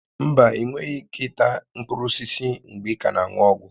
Mba, ịnweghị ike ịta mkpụrụ osisi mgbe ị ka na-aṅụ ọgwụ